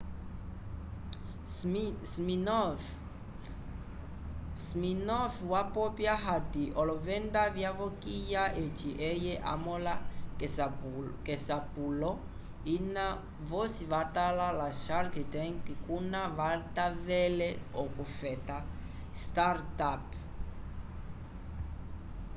siminoff wapopya hati olovenda vyavokiya eci eye hamõleha k'esapulo ina vosi vatala ya shark tank kuna kavatavele okufeta startup